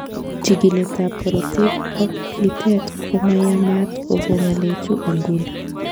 Chikiletab korotik ak lilet komayamat koko ng'alechu en nguni.